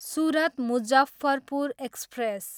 Surat, Muzaffarpur express